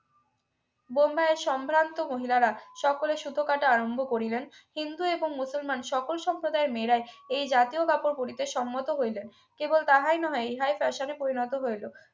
বোম্বাইয়ের সম্ভ্রান্ত মহিলারা সকলে সুতো কাটা আরম্ভ করিলেন হিন্দু এবং মুসলমান সকল সম্প্রদায়ের মেয়েরাই এই জাতীয় কাপড় পড়িতে সম্মত হইলেন কেবল তাহাই নহে ইহা তার সঙ্গে পরিণত হইল